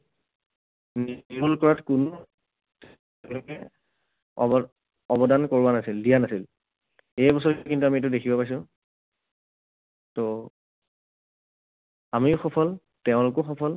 নিৰ্মূল কৰাত কোনো তেওঁলোকে অৱ~ অৱদান কৰোৱা নাছিল, দিয়া নাছিল। এইবছৰ কিন্তু আমি সেইটো দেখিব পাইছো। ত' আমিও সফল, তেওঁলোকো সফল